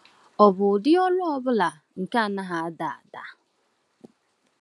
Ọ̀ bụ ụdị ọrụ ọ bụla nke anaghị ada ada?